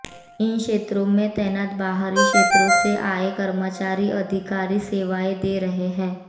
इन क्षेत्रों में तैनात बाहरी क्षेत्रों से आए कर्मचारी अधिकारी सेवाएं दे रहे हैं